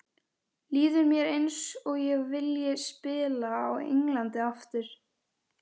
Líður mér eins og ég vilji spila á Englandi aftur?